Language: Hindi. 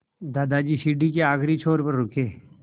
दादाजी सीढ़ी के आखिरी छोर पर रुके